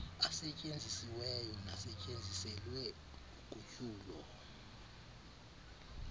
asetyenzisiweyo nasetyenziselwe ugutyulo